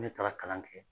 Ne taara kalan kɛ